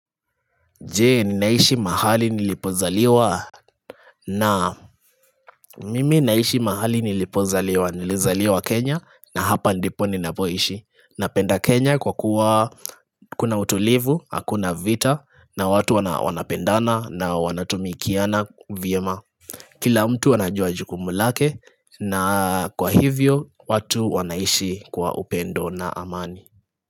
Je, ninaishi mahali nilipozaliwa na mimi naishi mahali nilipozaliwa nilizaliwa kenya na hapa ndipo ninapoishi Napenda kenya kwa kuwa kuna utulivu hakuna vita na watu wana wanapendana na wanatumikiana vyema Kila mtu anajua jukumu lake na kwa hivyo watu wanaishi kwa upendo na amani.